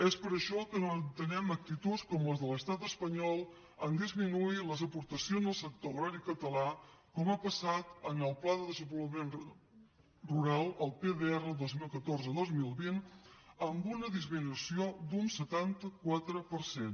és per això que no entenem actituds com les de l’estat espanyol en disminuir les aportacions al sector agrari català com ha passat amb el pla de desenvolupament rural el pdr dos mil catorze dos mil vint amb una disminució d’un setanta quatre per cent